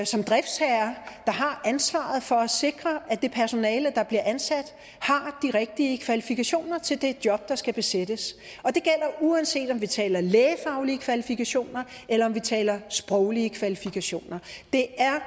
som driftsherrer der har ansvaret for at sikre at det personale der bliver ansat har de rigtige kvalifikationer til det job der skal besættes og det gælder uanset om vi taler lægefaglige kvalifikationer eller om vi taler sproglige kvalifikationer det er